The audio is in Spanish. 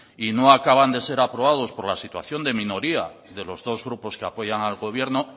y no acaban de ser aprobados por la situación de minoría de los dos grupos que apoyan al gobierno